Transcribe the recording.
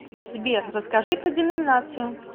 сбер расскажи про деноминацию